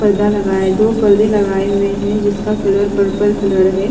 पर्दा लगाया दो पर्दे लगाये हुए है जिसका कलर पर्पल कलर है।